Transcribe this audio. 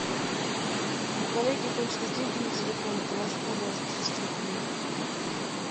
у коллеги кончились деньги на телефоне положи пожалуйста триста рублей